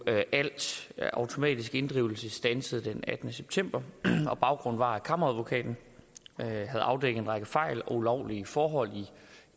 at al automatisk inddrivelse blev standset den attende september baggrunden var at kammeradvokaten havde afdækket en række fejl og ulovlige forhold